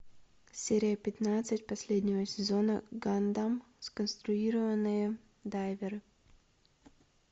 серия пятнадцать последнего сезона гандам сконструированные дайверы